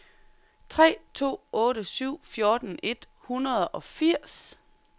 tre to otte syv fjorten et hundrede og firs